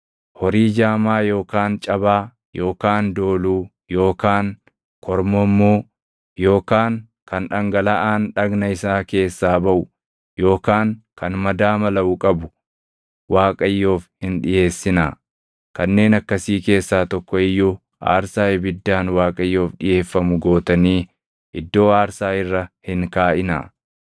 Horii jaamaa yookaan cabaa yookaan dooluu yookaan kormommuu yookaan kan dhangalaʼaan dhagna isaa keessaa baʼu yookaan kan madaa malaʼu qabu Waaqayyoof hin dhiʼeessinaa. Kanneen akkasii keessaa tokko iyyuu aarsaa ibiddaan Waaqayyoof dhiʼeeffamu gootanii iddoo aarsaa irra hin kaaʼinaa.